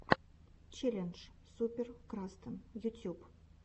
челлендж супер крастан ютуб